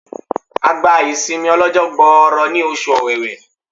A gba ìsinmi ó lọ́jọ́ gbọọrọ ní oṣù ọ̀wẹ̀wẹ̀.